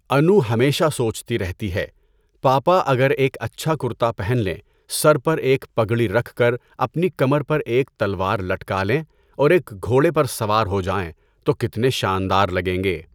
انو ہمیشہ سوچتی رہتی ہے، پاپا اگر ایک اچھا کرتا پہن لیں، سر پر ایک پگڑی رکھ کر اپنی کمر پر ایک تلوار لٹکا لیں اور ایک گھوڑے پر سوار ہو جائیں، تو کتنے شاندار لگیں گے!